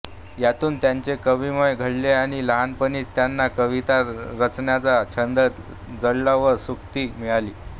यांतून त्यांचे कविमन घडले आणि लहानपणीच त्यांना कविता रचण्याचा छंद जडला व स्फूर्ती मिळाली